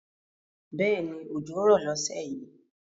Bẹ́ẹ̀ni òjò rọ̀ lọ́sẹ̀ yìí